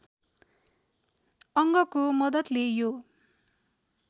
अङ्गको मद्दतले यो